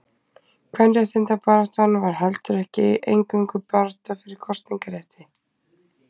Kvenréttindabaráttan var heldur ekki eingöngu barátta fyrir kosningarétti.